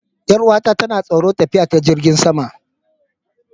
Yar'uwata tana tsoron tafiya ta jirigin sama.